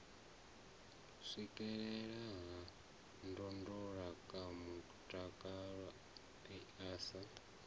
swikelelea ha ndondolamutakalo i sa